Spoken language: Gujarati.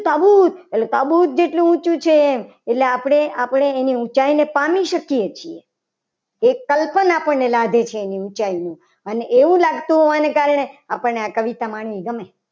એટલે સાબુદ જેટલું ઊંચું છે. એટલે આપણે આપણી રીતે વિચાર પામી શકીએ. કે એક કલ્પના પણ લાગે છે. એનું ઊંચાઈનું અને એવું લાગતું હોવાના કારણે આપણને આ કવિતામાં